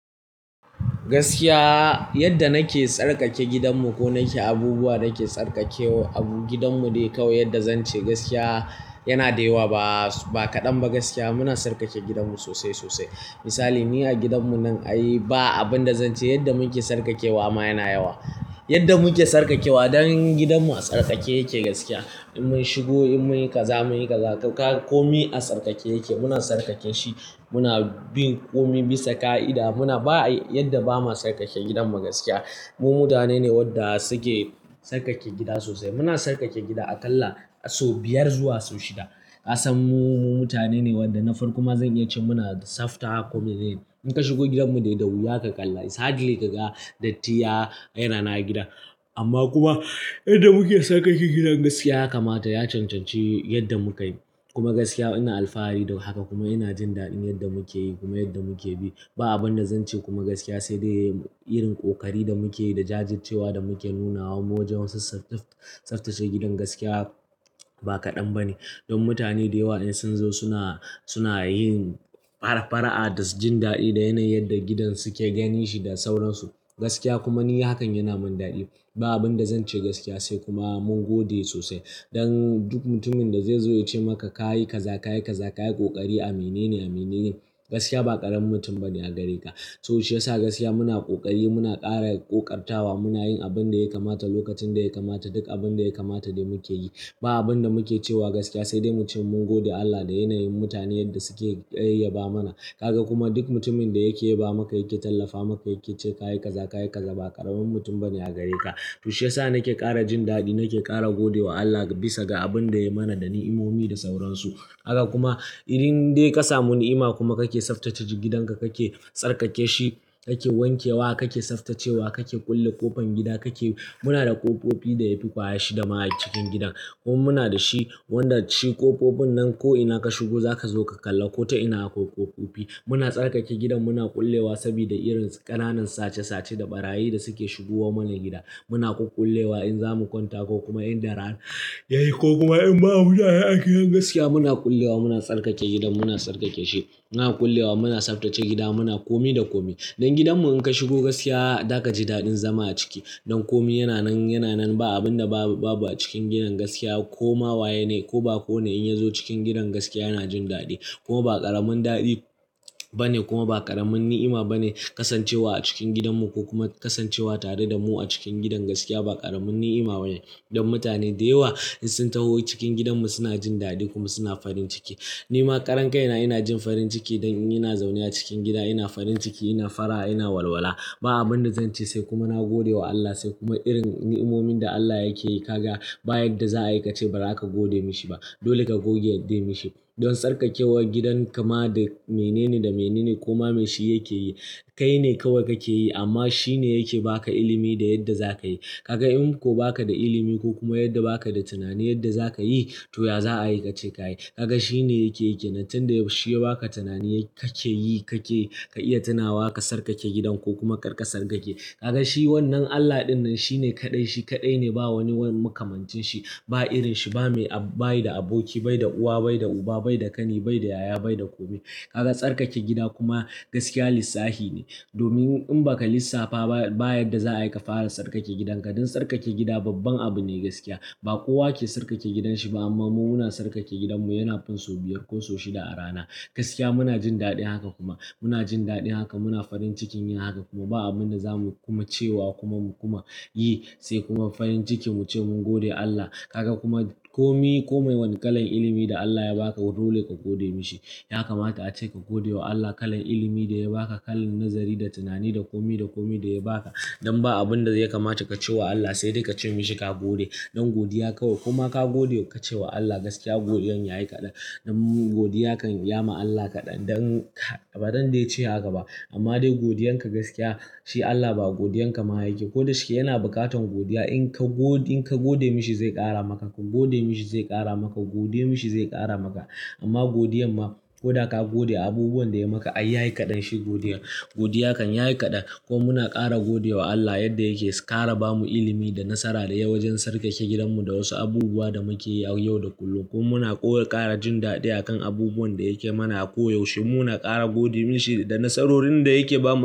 Gaskiya yadda nake tsarkake gidanmu ko nake abubuwan da nake tsarkakewa a gidanmu dai kau, yadda zan ce gaskiya yana da yawa. Ba kaɗan ba gaskiya muna tsarkake gidanmu sosai sosai. Misali, ni a gidanmu nan ai ba abin da zan ce yadda muke tsarkakewa ma yana yawa. Yadda muke tsarkakewa don gidanmu a tsarkake yake gaskiya. In mun shigo, in mun yi kaza, mun yi kaza, komai a tsarkake yake. Muna tsarkake shi, muna bin komai bisa ƙa'ida. Muna ba yadda bamu tsarkake gidan mu gaskiya. Mu mutane ne wadda suke tsarkake gida sosai. Muna tsarkake gida aƙalla sau biyar zuwa sau shida. Ka san mu mutane ne wanda na farko ma zan iya ce muna tsafta ko menene in ka shiga gidanmu dai da wuya ka kalla, it's hardly ka ga datti ya yana nan a gida. Amma kuma yadda muke tsarkake gidan gaskiya ya kamata, ya cancanci yadda muka yi. Kuma gaskiya ina alfahari da haka kuma ina jin daɗin yadda muke yi kuma yadda muke bi. Ba abin da zan ce kuma gaskiya sai dai irin ƙoƙari da muke yi da jajircewa da muke nunawa mu wajen tsaftace gidan gaskiya ba kaɗan ba ne. Don mutane da yawa in sun zo suna, suna yin fara-fara'a da jin daɗi da yanayin yadda gidan suke ganin shi da sauransu. Gaskiya kuma ni hakan yana min daɗi. Ba abin da zan ce gaskiya sai kuma mun gode sosai. Don duk mutumin da zai zo ya ce maka ka yi kaza, ka yi kaza, ka yi ƙoƙari a mene ne, a mene ne, gaskiya ba ƙaramin mutum ba ne a gare ka. To shiyasa gaskiya muna ƙoƙari, muna ƙara ƙoƙartawa, muna yin abin da ya kamata lokacin da ya kamata. Duk abin da ya kamata dai muke yi. Ba abin da muke cewa gaskiya sai dai mu ce mun gode Allah da yanayin mutane yadda suke iya ba mana. Kaga kuma duk mutumin da yake yaba maka, yake tallafa maka yake ce kayi kaza, kayi kaza, ba karamin mutum bane a gare ka. To shi yasa nake ƙara jin daɗi, nake ƙara gode wa Allah bisa ga abin da yai mana da ni'imomi da sauransu. Kaga kuma in dai ka samu ni'ima kuma ka ke tsaftace gidan ka, ka ke tsarkake shi, ka ke wanke wa, ka ke tsaftacewa, ka ke kulle ƙofan gida, ka ke-- muna da ƙofofi da yafi ƙwaya shida ma a cikin gidan. Kuma muna da shi wanda shi ƙofofin nan ko ina ka shigo za ka zo ka kalla ko to ina akwai ƙofofi. Muna tsarkake gidan, muna kullewa saboda irin ƙananan sace-sace da ɓarayi da suke shigowa mana gida. Muna ƙuƙƙulewa in za mu kwanta ko kuma in dare yayi ko kuma in babu yara a ciki. Gaskiya muna kullewa, muna tsarkake gidan, muna tsarkake shi. Muna kullewa, muna tsaftace gida, muna komi da komi. Don gidanmu in ka shigo gaskiya za ka ji daɗin zama a ciki. Don komi yana nan, yana nan. Ba abinda babu a cikin gidan gaskiya koma waye ko bako ne in yazo cikin gidan gaskiya yana jin dadi. Kuma ba karamin dadi bane kuma karamin ni'ima bane kasancewa a cikin gidanmu ko kuma kasancewa tare damu a cikin gidan gaskiya ba karamin ni'ima bane, don mutane da yawa in sun taho cikin gidanmu suna ji dadi kuma suna farin ciki. Ni ma karan kai na ina jin farin ciki don ina zaune a cikin gida ina farin ciki, ina fara, ina walwala. Ba abinda zan ce sai kuma nagode wa Allah se kuma irin ni'imomin da Allah yake yi. Kaga ba yadda za a yi ka ce ba zaka gode mishi ba. Dole ka goge yadda ya mishi. Don tsarkakewar gidan kama dai mene ne da mene ne ko ma me shi yake yi, kai ne kawai kake yi amma shi ne yake ba ka ilimi da yadda za ka yi. Kaga in ko ba ka da ilimi ko kuma yadda ba ka da tunani yadda za ka yi, to ya za a yi ka ce ka yi. Kaga shi ne yake yake. Nan tun da shi ya ba ka tunani kake yi kake ka iya tunawa ka tsarkake gidan ko kuma kar ka tsarkake. Kaga shi wannan Allah ɗinnan shi ne kaɗai, shi kaɗai ne, ba wani wani makamancin shi, ba irin shi, ba mai, ba yi da aboki, bai da uwa, bai da uba, bai da ƙani, bai da yaya, bai da komai. Kaga tsarkake gida kuma gaskiya lissafi ne. Domin in ba ka lissafa ba, ba yadda za a yi ka fara tsarkake gidanka. Don tsarkake gida babban abu ne gaskiya. Ba kowa ke tsarkake gidan shi amma mu muna tsarkake gidanmu yana fin sau biyar ko sau shida a rana. Gaskiya muna jin daɗin haka kuma. Muna jin daɗin haka, muna farin cikin yin haka kuma ba abin da za mu kuma cewa kuma kuma yi sai kuma farin ciki mu ce mun gode Allah. Kaga kuma ko kowane kalan ilimi da Allah ya baka dole ka gode mishi. Ya kamata ace ka gode wa Allah kalan ilimi da ya ba ka, kalan nazari da tunani da komi da komi da ya ba ka. Don ba abin da ya kamata ka ce wa Allah sai dai ka ce mishi ka gode. Don godiya kawai koma ka gode kace wa Allah gaskiya godiyan yayi kadan. Don godiya kan ya ma Allah kaɗan don, ba don dai ce haka ba amma dai godiyan ka gaskiya shi Allah ba godiyan ka ma yake. Ko da shike yana bukatar godiya. In ka go, in ka gode mishi zai ƙara maka, ka gode mishi zai ƙara maka, gode mishi zai ƙara maka. Ma godiyan ma koda ka gode abubuwan da yayi maka ai yayi kadan shi godiyan godiya kan ya yi kaɗan ko muna ƙara gode wa Allah yadda yake ƙara ba mu ilimi da nasara da yawa wajen tsarkake gidanmu da wasu abubuwa da muke yi a yau da kullum. Ko muna ƙara jin daɗi akan abubuwan da yake mana a ko yaushe. Muna ƙara gode mishi da nasarorin da yake ba mu.